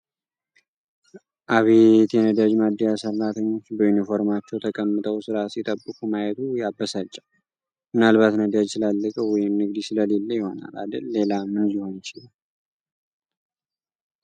አቤት! የነዳጅ ማደያ ሰራተኞች! በዩኒፎርማቸው ተቀምጠው ስራ ሲጠብቁ ማየቱ ያበሳጫል! ምናልባት ነዳጅ ስላለቀ ወይም ንግድ ስለሌለ ይሆናል አደል ሌላ ምን ሊሆን ይችላል!